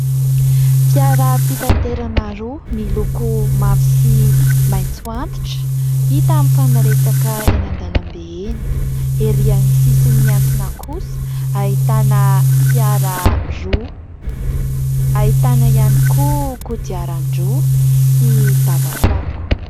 Fiara-pitaterana roa miloko mavo sy maintso antitra ; hita amin'ny fanaretsaka eny an-dalambe eny, ery an'ny sisin'ny miantsona kosa ahitana fiara roa, ahitana ihany koa kodiaran-droa sy dabapako.